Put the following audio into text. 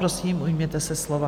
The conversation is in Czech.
Prosím, ujměte se slova.